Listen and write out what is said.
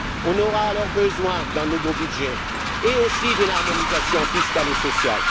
on aura alors besoin d'un nouveau budget et aussi d'une harmonisation fiscale et sociale.